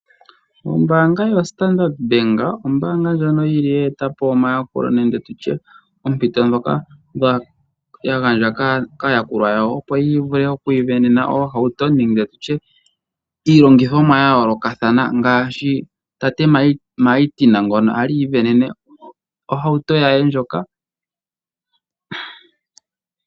Ombaanga yoStandard Bank ombaanga ndjono yi li ye ete po omayakulo nenge tu tye oompito ndhoka ya gandja kaayakulwa yawo, opo ya vule oku isindanena oohauto nenge tu tye iilongithomwa ya yoolokathana ngaashi tate Martin ngono a li i isindanene ohauto ye ndjoka.